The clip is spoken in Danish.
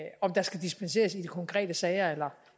om der skal dispenseres i de konkrete sager